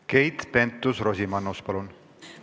Keit Pentus-Rosimannus, palun!